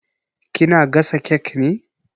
Ki na gasa kek ne?